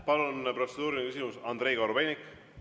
Palun, protseduuriline küsimus, Andrei Korobeinik!